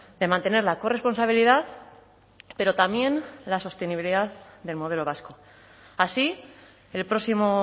de mantener la corresponsabilidad pero también la sostenibilidad del modelo vasco así el próximo